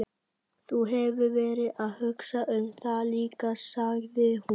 Þú hefur verið að hugsa um það líka, sagði hún.